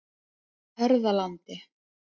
Hörðalandi